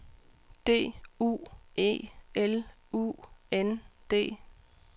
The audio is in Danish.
D U E L U N D